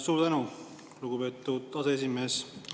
Suur tänu, lugupeetud aseesimees!